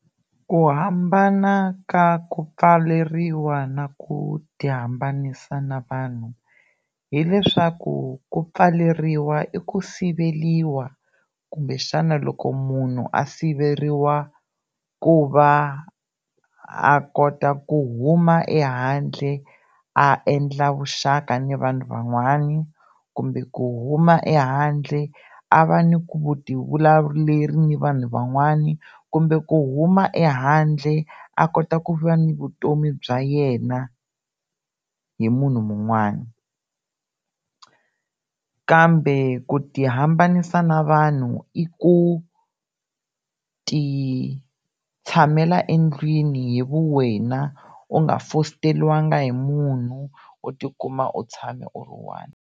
Ku hambana ka ku pfaleriwa na ku ti hambanisa na vanhu hileswaku ku pfaleriwa i ku siveriwa kumbe xana loko munhu a siveriwa ku va a kota ku huma ehandle a endla vuxaka ni vanhu van'wani kumbe ku huma ehandle a va ni ku ti vulavuleri ni vanhu van'wani kumbe ku huma ehandle a kota ku va ni vutomi bya yena hi munhu mun'wani kambe ku ti hambanyisa na vanhu i ku ti tshamela endlwini hi vuwena, u nga fosteriwanga hi munhu u tikuma u tshame u ri one.